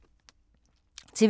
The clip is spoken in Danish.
TV 2